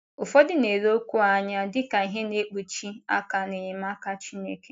Ụfọdụ na - ele okwu a anya dị ka ihe na - ekpụchi aka n’enyemaka Chineke.